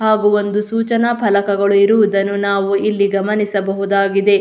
ಹಾಗು ಒಂದು ಸೂಚನಾ ಫಲಕಗಳು ಇರುವುದನ್ನು ನಾವು ಗಮನಿಸಬಹುದಾಗಿದೆ.